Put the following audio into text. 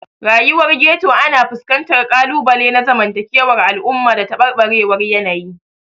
Rayuwar Ghetto ana fuskantar ƙalubale na zamantakewar al'umma da tabarbarewar yanayi.